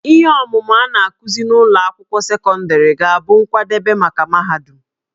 Ihe ọmụmụ a na-akụzi n'ụlọ akwụkwọ sekọndịrị ga-abụ nkwadebe maka mahadum